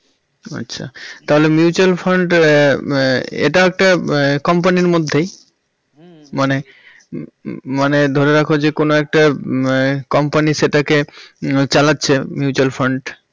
ও আচ্ছা তাহলে mutual fund আহ আহ এটাও একটা company র মধ্যেই মানে ধরে রাখ যে কোন একটা উহ company সেটাকে চালাচ্ছে mutual fund